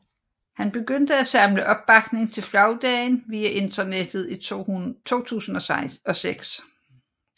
Han begyndte af samle opbakning til flagdagen via internettet i 2006